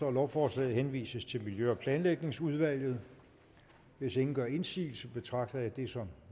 at lovforslaget henvises til miljø og planlægningsudvalget hvis ingen gør indsigelse betragter jeg det som